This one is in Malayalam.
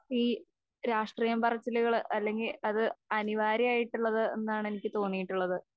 ഈ രാഷ്ട്രീയം പറച്ചിലുകള് അല്ലെങ്കിൽ അത് അനിവാര്യമായിട്ടുള്ളത് എന്നാണെനിക്ക് തോന്നിയിട്ടുള്ളത്